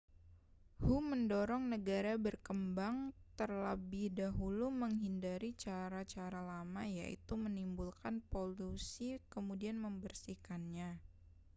hu mendorong negara berkembang terlebih dahulu menghindari cara-cara lama yaitu menimbulkan polusi kemudian membersihkannya